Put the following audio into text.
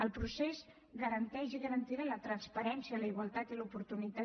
el procés garanteix i garantirà la transparència la igualtat i l’oportunitat